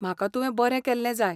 म्हाका तुवें बरें केल्लें जाय.